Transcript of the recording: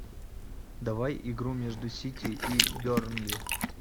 давай игру между сити и бернли